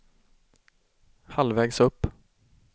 halvvägs upp